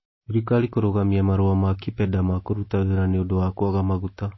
Thirikari kũrũgamia marua ma KIPEDA ma kũruta wĩra nĩ ũndũ wa kwaga maguta